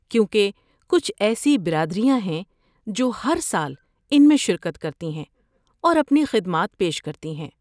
کیونکہ کچھ ایسی برادریاں ہیں جو ہر سال ان میں شرکت کرتی ہیں اور اپنی خدمات پیش کرتی ہیں۔